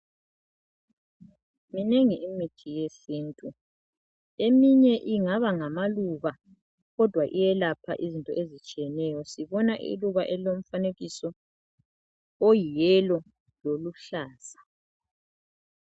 Minengi imithi yesintu, eminye ingaba ngamaluba kodwa iyelapha izinto ezitshiyeneyo, sibona iluba elilomfanekiso oyi"yellow" loluhlaza.